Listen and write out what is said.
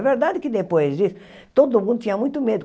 É verdade que, depois disso, todo mundo tinha muito medo.